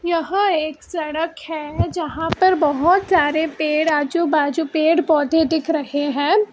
यहां एक सड़क है जहां पर बहोत सारे पेड़ आजू बाजू पेड़ पौधे दिख रहे हैं।